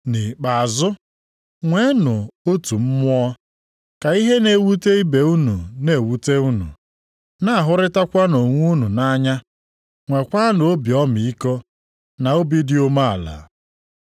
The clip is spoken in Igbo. Nʼikpeazụ, nweenụ otu mmụọ, ka ihe na-ewute ibe unu na-ewute unu, na-ahụrịtanụ onwe unu nʼanya, nwekwanụ obi ọmịiko na obi dị umeala.